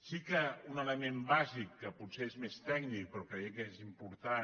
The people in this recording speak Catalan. sí que un element bàsic que potser és més tècnic però creiem que és important